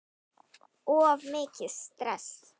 Of mikið stress?